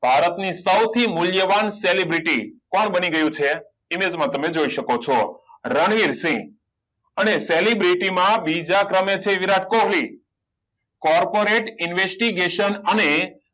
ભારત ની સૌથી મૂલ્યવાન celebrity કોણ બની ગયું છે image માં તમે જોય શકો છો રણવીરસિંહ અને celebrity માં બીજા ક્રમે છે વિરાટ કોહલી corporate investigation અને